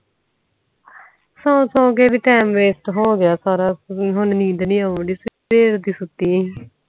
ਸੂ ਸੂ ਕੇ ਵੀ ਟਾਈਮ waste ਹੋਗਿਆ ਹੁਣ ਨੀਂਦ ਨੀ ਆਉਣ ਦੇ ਸਿੱਧੇ ਆ ਕ ਸੁਤੀ ਆ